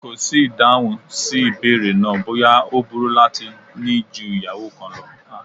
Kò sí ìdáhùn sí ìbéèrè náà bóyá ó burú láti ní ju ìyàwó kan lọ